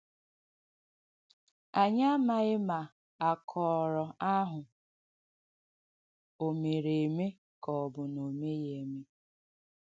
Ànyị amāghī ma àkọ́rọ̀ àhụ̀ ọ̀ mèrē èmē ka ọ̀ bụ̀ na o mēghī.